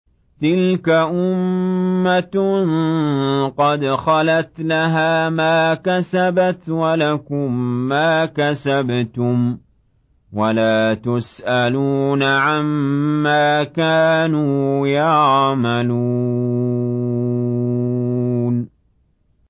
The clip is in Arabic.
تِلْكَ أُمَّةٌ قَدْ خَلَتْ ۖ لَهَا مَا كَسَبَتْ وَلَكُم مَّا كَسَبْتُمْ ۖ وَلَا تُسْأَلُونَ عَمَّا كَانُوا يَعْمَلُونَ